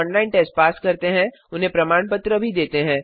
जो online test pass करते हैं उन्हें प्रमाण पत्र भी देते हैं